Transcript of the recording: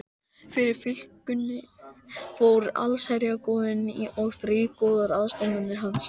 Fyrir fylkingunni fóru allsherjargoðinn og þrír goðar, aðstoðarmenn hans